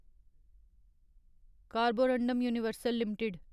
Carborundum Universal limited